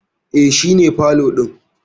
E, shi ne pole din.